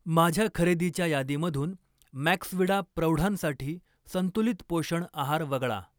माझ्या खरेदीच्या यादीमधून मॅक्सविडा प्रौढांसाठी संतुलित पोषण आहार वगळा.